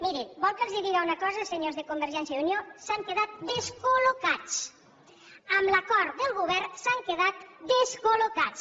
mirin volen que els digui una cosa senyors de convergència i unió s’han quedat descol·locats amb l’acord del govern s’han quedat descol·locats